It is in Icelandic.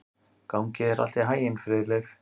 Gangi þér allt í haginn, Friðleif.